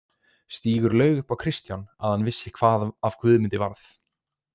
Stígur laug upp á Kristján að hann vissi hvað af Guðmundi varð.